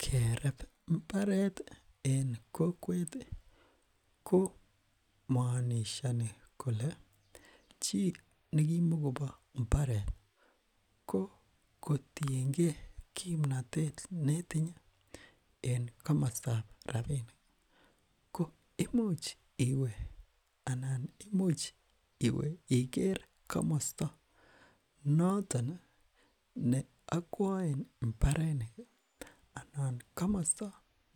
kereb mbaret en kokweti koomonishoni kole chi nekimokopo mbaret kokotienge kimnotet netinye en komostab rapinik ko imuch iwe anan imuch iwe iker komosto neokwoen mbareniki anan komosto